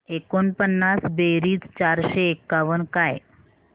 एकोणपन्नास बेरीज चारशे एकावन्न काय